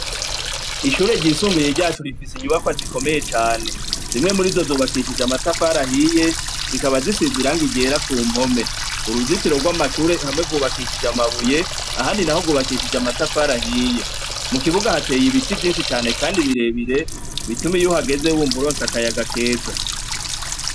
Ishure ryisumbuye ryacu, rifise inyubakwa zikomeye cane; zimwe muri zo zubakishijwe amatafari ahiye, zikaba zisize irangi ryera ku mpome. Uruzitiro rw'amashure hamwe rwubakishije amabuye, ahandi naho rwubakishije amatafari ahiye; mu kibuga hateye ibiti vyinshi kandi birebire, bituma iyo uhageze wumva uronse akayaga keza.